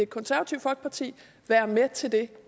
konservative folkeparti være med til det